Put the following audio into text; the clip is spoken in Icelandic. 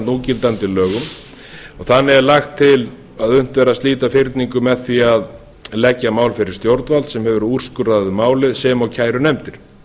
núgildandi lögum þannig er lagt til að unnt verði að slíta fyrningu með því að leggja málið fyrir stjórnvald sem hefur úrskurðað um málið sem og kærunefndir